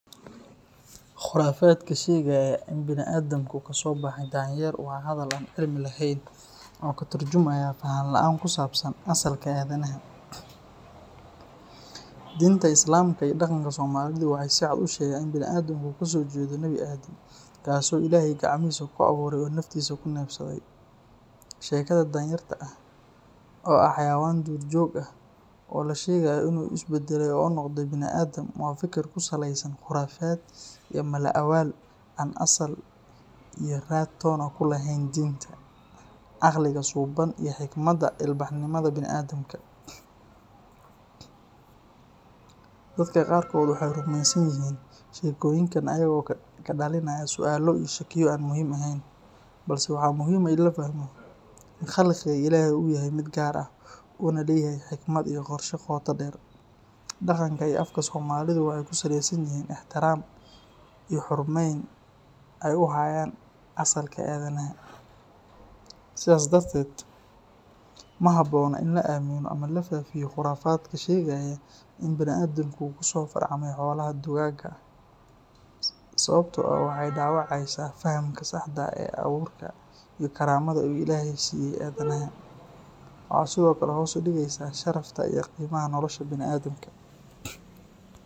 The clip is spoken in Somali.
Khurafaadka sheegaya in bini’aadamku kasoo baxay danyer waa hadal aan cilmi lahayn oo ka tarjumaya faham la’aan ku saabsan asalka aadanaha. Diinta Islaamka iyo dhaqanka Soomaalidu waxay si cad u sheegaan in bini’aadamka uu kasoo jeedo Nabi Aadam, kaasoo Ilaahay gacmihiisa ku abuuray oo naftiisa ku neefsaday. Sheekada danyarta oo ah xayawaan duurjoog ah oo la sheegayo inuu is baddalay oo noqday bini’aadam, waa fikir ku saleysan khuraafaad iyo mala-awaal aan sal iyo raad toona ku lahayn diinta, caqliga suuban iyo xigmadda ilbaxnimada bini’aadamka. Dadka qaarkood waxay rumaysan yihiin sheekooyinkan ayagoo ka dhalinaya su’aalo iyo shakiyo aan muhiim ahayn, balse waxaa muhiim ah in la fahmo in khalqiga Ilaahay uu yahay mid gaar ah, una leeyahay xikmad iyo qorshe qoto dheer. Dhaqanka iyo afka Soomaalidu waxay ku saleysan yihiin ixtiraam iyo xurmayn ay u hayaan asalka aadanaha. Sidaas darteed, ma habboona in la aamino ama la faafiyo khuraafaadka sheegaya in bini’aadamku uu kasoo farcamay xoolaha dugaagga ah, sababtoo ah waxay dhaawacaysaa fahamka saxda ah ee abuurka iyo karaamada uu Ilaahay siiyay aadanaha. Waxay sidoo kale hoos u dhigaysaa sharafta iyo qiimaha nolosha bini’aadamka.